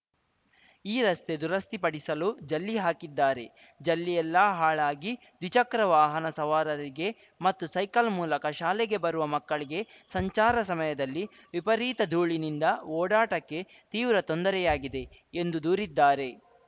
ಈ ರಸ್ತೆ ದುರಸ್ತಿಪಡಿಸಲು ಜಲ್ಲಿ ಹಾಕಿದ್ದಾರೆ ಜಲ್ಲಿಯೆಲ್ಲಾ ಹಾಳಾಗಿ ದ್ವಿಚಕ್ರ ವಾಹನ ಸವಾರರಿಗೆ ಮತ್ತು ಸೈಕಲ್‌ ಮೂಲಕ ಶಾಲೆಗೆ ಬರುವ ಮಕ್ಕಳಿಗೆ ಸಂಚಾರ ಸಮಯದಲ್ಲಿ ವಿಪರೀತ ಧೂಳಿನಿಂದ ಓಡಾಟಕ್ಕೆ ತೀವ್ರ ತೊಂದರೆಯಾಗಿದೆ ಎಂದು ದೂರಿದ್ದಾರೆ